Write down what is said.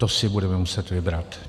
To si budeme muset vybrat.